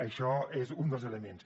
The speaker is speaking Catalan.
això és un dels elements